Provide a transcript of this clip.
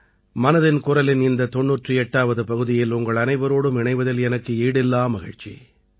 மனதின் குரலின் இந்த 98ஆவது பகுதியில் உங்களனைவரோடும் இணைவதில் எனக்கு ஈடில்லா மகிழ்ச்சி